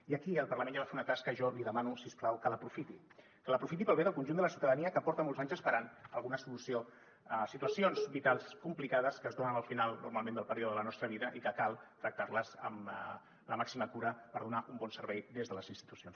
i aquí el parlament ja va fer una tasca i jo li demano si us plau que l’aprofiti que l’aprofiti pel bé del conjunt de la ciutadania que porta molts anys esperant alguna solució a situacions vitals complicades que es donen al final normalment del període de la nostra vida i que cal tractar amb la màxima cura per donar un bon servei des de les institucions